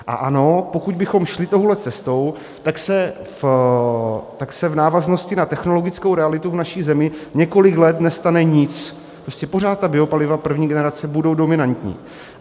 A ano, pokud bychom šli touhle cestou, tak se v návaznosti na technologickou realitu v naší zemi několik let nestane nic, prostě pořád ta biopaliva první generace budou dominantní.